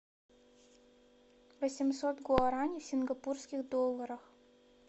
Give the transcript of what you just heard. восемьсот гуараней в сингапурских долларах